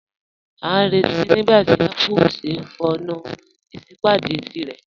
A n rẹ̀tí nígbàtí Apple o ṣè fọọ̀nù isípádé tírẹ̀.